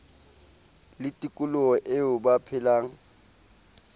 le tikoloho eo ba phelang